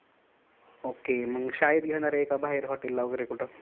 okay मग शाळेत घेणार आहे का बाहेर hotel ला वगैरे कुठ?